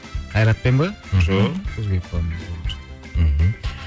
қайратпен бе жоқ